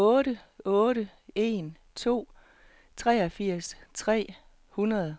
otte otte en to treogfirs tre hundrede